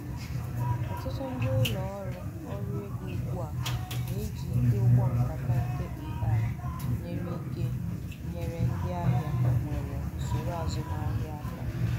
ọtụtụ ndị ụlọ ọrụ ọrụ ego ugbu a na-ejị ike ụgbọ nkata nke ai-nyere ike enyere ndị ahịa nwere usoro azumahịa aka